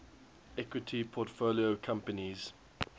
equity portfolio companies